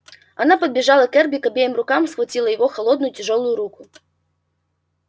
она подбежала к эрби и обеими руками схватила его холодную тяжёлую руку